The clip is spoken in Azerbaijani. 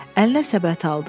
Əlinə səbət aldı.